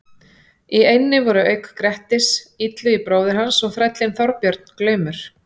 Í eynni voru auk Grettis, Illugi bróðir hans og þrællinn Þorbjörn glaumur.